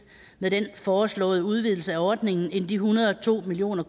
med den foreslåede udvidelse af ordningen end de en hundrede og to million